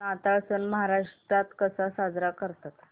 नाताळ सण महाराष्ट्रात कसा साजरा करतात